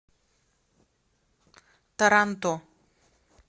таранто